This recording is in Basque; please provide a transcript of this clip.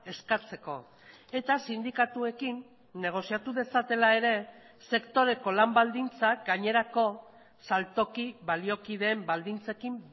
eskatzeko eta sindikatuekin negoziatu dezatela ere sektoreko lan baldintzak gainerako saltoki baliokideen baldintzekin